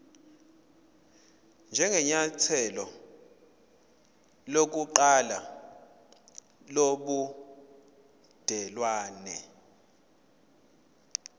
njengenyathelo lokuqala lobudelwane